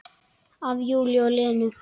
Af Júlíu og Lenu.